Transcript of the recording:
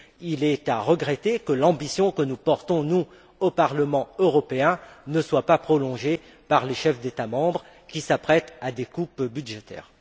Il est à regretter que l'ambition dont nous sommes porteurs ici, au Parlement européen, ne soit pas relayée par les chefs des États membres, qui s'apprêtent à des coupes budgétaires.